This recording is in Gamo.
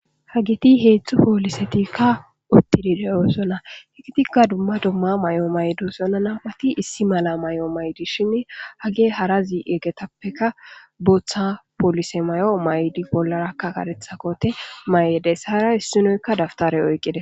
Ha giti heetzthu poolisetikka uttidideyoosona higitikka dumma dumma may7o maydusona napati issi mala may7o maydishinne hage harazi eggetappeka booththa poolise may7o may7di bollarakka karetha kote may7edes hara issinoykka daftare oyqqide.